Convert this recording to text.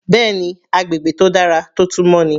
Bẹ́ẹ̀ni agbègbè tó dára tó tún mọ́ ni.